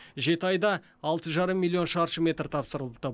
жеті айда алты жарым миллион шаршы метр тапсырылыпты